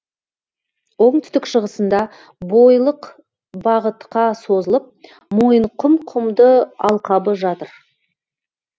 оңтүстік шығысында бойлық бағытқа созылып мойынқұм құмды алқабы жатыр